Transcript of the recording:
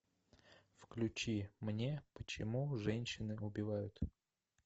включи мне почему женщины убивают